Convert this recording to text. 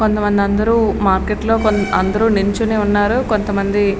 కొంతమంది అందరూ మార్కెట్ లో అందరూ నిల్చుని ఉన్నారు. కొంత మంది--